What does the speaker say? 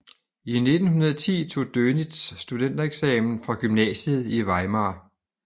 I 1910 tog Dönitz studentereksamen fra gymnasiet i Weimar